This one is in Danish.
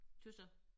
Tøs jeg